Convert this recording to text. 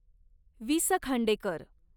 वि स खांडेकर